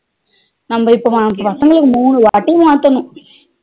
நம்ம இப்ப பசங்களுக்கு மூணுவாட்டி மாத்தணும்